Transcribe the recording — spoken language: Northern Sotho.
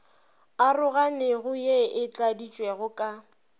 aroganego ye e tladitšwego ka